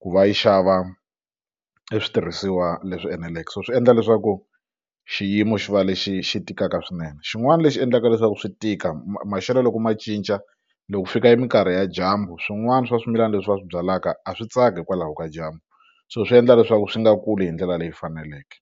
ku va yi xava eswitirhisiwa leswi eneleke so swi endla leswaku xiyimo xi va lexi xi tikaka swinene xin'wana lexi endlaka leswaku swi tika maxelo loko ma cinca loko fika e minkarhi ya dyambu swin'wana swa swimilana leswi va swi byalaka a swi tsaki hikwalaho ka dyambu so swi endla leswaku swi nga kuli hi ndlela leyi faneleke.